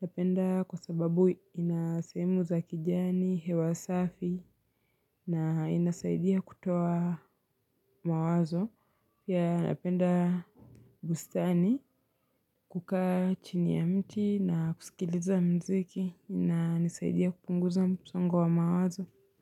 Napenda kwa sababu ina sehemu za kijani, hewa safi, na inasaidia kutoa mawazo. Yea napenda bustani kukae chini ya mti na kusikiliza mziki inanisaidia kupunguza msongo wa mawazo.